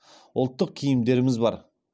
ұлттық киімдеріміз бар